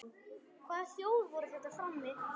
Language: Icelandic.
Hvaða hljóð voru þetta frammi?